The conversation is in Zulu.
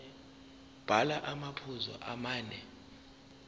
bhala amaphuzu amane